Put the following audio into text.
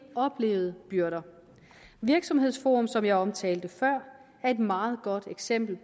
oplevede byrder virksomhedsforum som jeg omtalte før er et meget godt eksempel